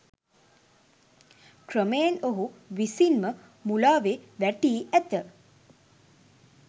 ක්‍රමයෙන් ඔහු විසින්ම මුලාවේ වැටී ඇත